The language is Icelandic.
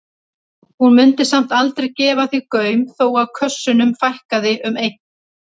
Hún mundi samt aldrei gefa því gaum þó að kössunum fækkaði um einn.